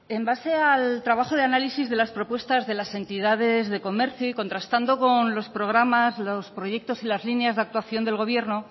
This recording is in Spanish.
en base al trabajo de análisis de las propuestas de las entidades de comercio y contrastando con los programas los proyectos y las líneas de actuación del gobierno